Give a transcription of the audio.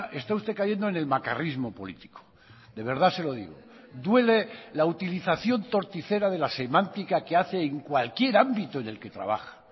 está usted cayendo en el macarrismo político de verdad se lo digo duele la utilización torticera de la semántica que hace en cualquier ámbito en el que trabaja